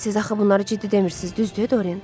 Siz axı bunları ciddi demirsiz, düzdür, Dorian?